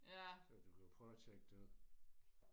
så du kan jo prøve og tjekke det ud